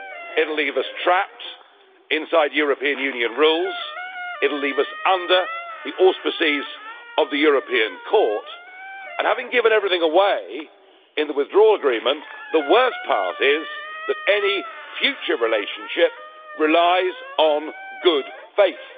It will leave us trapped inside European Union rules, it will leave us under the auspices of the European Court and, having given everything away in the Withdrawal Agreement, the worst part is that any future relationship relies on good faith.